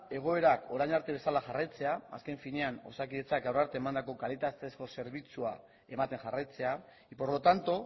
egoera orain arte bezala jarraitzea azken finean osakidetzak gaur arte eman duen kalitatezko zerbitzua ematen jarraitzea y por lo tanto